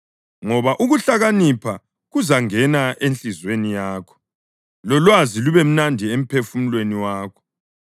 Ngoba ukuhlakanipha kuzangena enhliziyweni yakho, lolwazi lube mnandi emphefumulweni wakho.